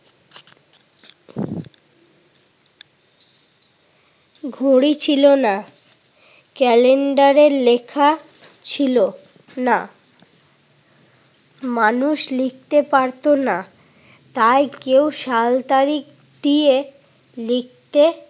ঘড়ি ছিল না। ক্যালেন্ডারের লেখা ছিল না। মানুষ লিখতে পারতো না। তাই কেউ সাল তারিখ দিয়ে লিখতে